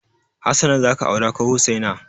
Hassana za ka aura ko Hussaina?